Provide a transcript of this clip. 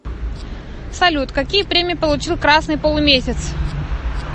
салют какие премии получил красный полумесяц